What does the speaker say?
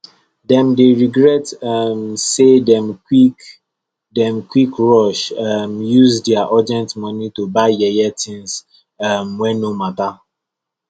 dem dey regret um say dem quick dem quick rush um use dia urgent money to buy yeye things um wey no matter